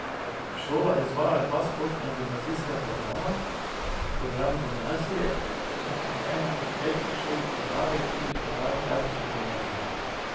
Šola izvaja dva splošna gimnazijska programa, program gimnazije in kot ena od petih šol v državi tudi program klasične gimnazije.